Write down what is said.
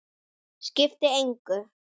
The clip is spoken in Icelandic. Skipti engu.